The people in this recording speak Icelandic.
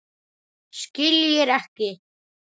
Skiljir ekki.